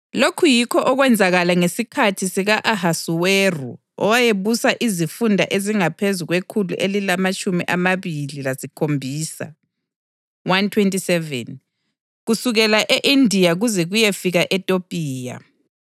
Lokhu yikho okwenzakala ngesikhathi sika-Ahasuweru, owayebusa izifunda ezingaphezu kwekhulu elilamatshumi amabili lasikhombisa (127) kusukela e-Indiya kuze kuyefika eTopiya.